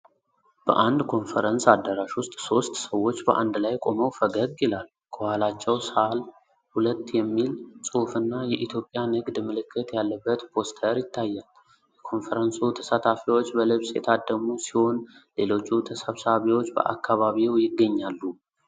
በአንድ ኮንፈረንስ አዳራሽ ውስጥ ሦስት ሰዎች በአንድ ላይ ቆመው ፈገግ ይላሉ። ከኋላቸው “ሳል 2” የሚል ጽሑፍና የኢትዮጵያ ንግድ ምልክት ያለበት ፖስተር ይታያል። የኮንፈረንሱ ተሳታፊዎች በልብስ የታደሙ ሲሆን፣ ሌሎቹ ተሰብሳቢዎች በአካባቢው ይገኛሉ።